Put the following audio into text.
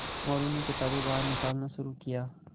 मोरू ने किताबें बाहर निकालना शुरू किया